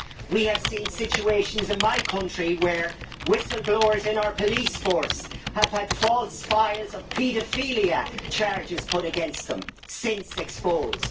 We have seen situations in my country where whistle blowers in our police force have had false files and paedophilia charges put against them, since exposed.